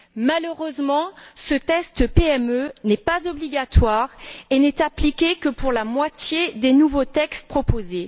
Malheureusement, ce test PME n'est pas obligatoire et n'est appliqué que pour la moitié des nouveaux textes proposés.